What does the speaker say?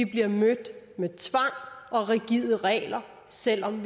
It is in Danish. bliver mødt med tvang og rigide regler selv om